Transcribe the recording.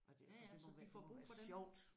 Ja ja så de får brug for dem